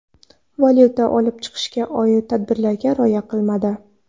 valyuta olib chiqishga oid tartiblarga rioya qilmadi.